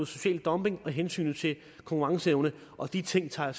social dumping og hensynet til konkurrenceevnen og de ting tager